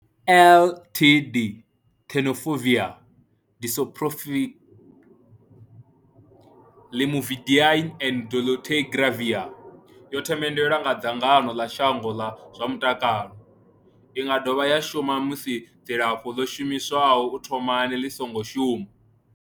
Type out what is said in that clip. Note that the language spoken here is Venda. TLD, Tenofovir disoproxil, Lamivudine and dolutegravir, yo themendelwa nga dzangano ḽa shango ḽa zwa mutakalo. I nga dovha ya shumiswa musi dzilafho ḽo shumiswaho u thomani ḽi songo shuma.